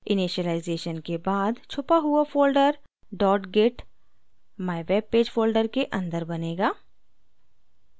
initialisation के बाद छुपा हुआ folder dot git mywebpage folder के अंदर बनेगा